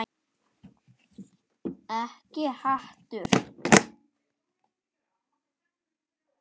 Ekkert hatur.